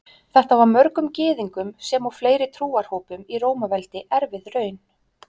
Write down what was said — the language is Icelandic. Þetta var mörgum Gyðingum sem og fleiri trúarhópum í Rómaveldi erfið raun.